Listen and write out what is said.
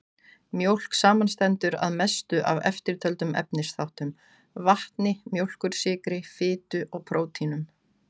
Mjólk samanstendur að mestu af eftirtöldum efnisþáttum: vatni, mjólkursykri, fitu og prótínum.